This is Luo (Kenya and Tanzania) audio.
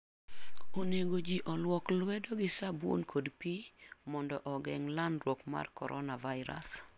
Onego ji oluok lwedo gi sabun kod pi mondo ogeng' landruok mar coronavirus.